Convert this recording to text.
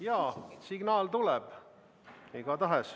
Jaa, signaal tuleb.